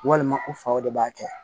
Walima u faw de b'a kɛ